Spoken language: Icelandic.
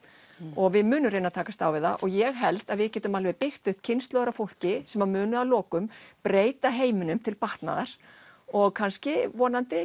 og við munum reyna að takast á við það og ég held að við getum alveg byggt kynslóðir af fólki sem munu að lokum breyta heiminum til batnaðar og kannski vonandi